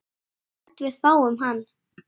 Ég held við fáum hann.